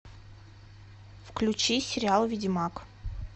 включи сериал ведьмак